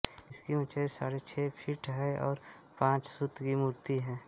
इसकी उँचाई साडे छह फूट है और पंचधातू की मुर्ति हैं